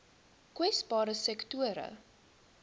kwesbare sektore